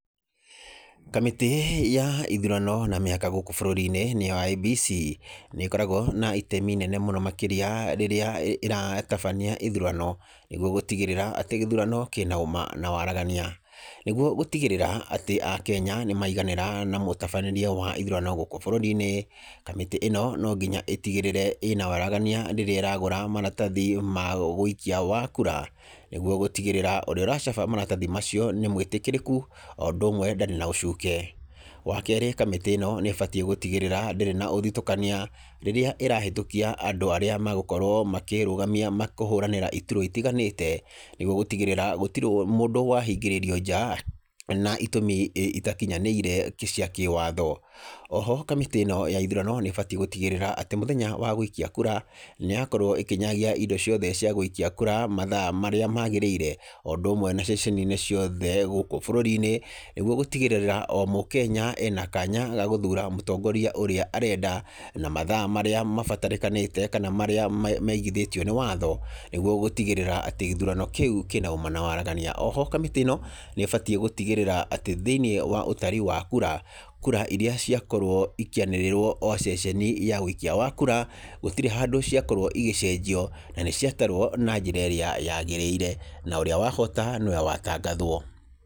Kamĩtĩ ya ithurano na mĩhaka gũkũ bũrũri -inĩ nĩo IEBC. Nĩkoragwo na itemi rĩnene makĩria rĩrĩa ĩratabania ithurano nĩ guo gũtigĩrĩra atĩ gĩthurano kĩna Wama na wahagarania. Nĩguo gũtigĩrĩra atĩ akenya nĩ maiganĩra na mũtabania wa ĩthurano gũkũ bũrũrĩ-ĩnĩ. Kamĩtĩ ino no nginya ĩtigĩrĩre ĩna waragania rĩrĩa ĩwra gura maratathi ma wĩkia wakura nĩ guo gũtigĩrĩra ũrĩa ũracaba maratathi macio nĩmwĩtĩkĩrĩku oũndũmwe ndarĩ na ũcuke. Wakere kamĩtĩ ĩno nĩbatie gũtigĩrĩra ndĩrĩ na ũthitũkania rĩrĩa ĩrahũtũkia andũ arĩa magũkorwo makĩrũgamia kũhũranĩra itura itiganĩte nĩguo gũtigĩrĩra gũtirĩ mũndũ wahingĩrĩrio nja na itũmi itakinyanĩire cia kĩwatho. Oho kamĩtĩ ino ya ithurano nĩ batie gũtigĩrĩra atĩ mũthenya wagũikia kura nĩyakorwo ĩkĩnyagia indo ciothe ciagũikia kura mathaa marĩa magĩrĩire, oũndũmwe na ceceni ciothe gũkũ bũrũri -inĩ nĩguo gũtigĩrĩra omũkenya ena kanya gagũthura mũtongoria ũrĩa arenda na mathaa marĩa mabatarĩkanĩtie kana marĩa maigithĩtio nĩ watho nĩgwo gũtigĩrĩra atĩ gĩthurano kĩu kĩna ũma na waragania. Oho kamĩtĩ ĩno nĩbatie gũtigĩrĩra atĩ thĩiniĩ wa ũtari wa kura, kura irĩa ciakorwo ikĩanĩrĩrwo oceceni ya ũikia wa kura gũtirĩ handũ ciakorwo igĩcenjio na nĩciatarwo na njĩra ĩrĩa yagĩrĩire na ũrĩa wahota nĩwe watangathwo.